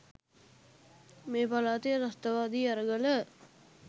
මේ පළාතේ ත්‍රස්තවාදී අරගල